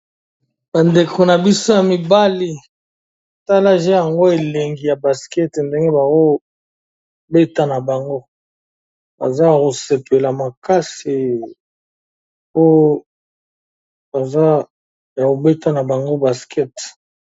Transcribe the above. Bandeko na biso ya mibali. Tala je yango elengi ya baskete ndenge bao beta na bango. Baza ko sepela makasi oyo kobeta na bango baskete.